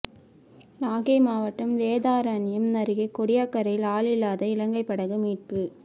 நாகை மாவட்டம் வேதாரண்யம் அருகே கோடியக்கரையில் ஆளில்லாத இலங்கை படகு மீட்பு